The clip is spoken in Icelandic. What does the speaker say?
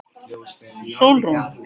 Sólrún